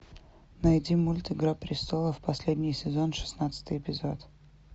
найди мульт игра престолов последний сезон шестнадцатый эпизод